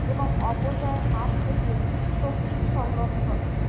এবং অপচয়ের হাত হইতে শক্তির সংরক্ষণ